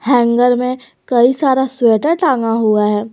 Hanger में कई सारा स्वेटर टांगा हुआ है।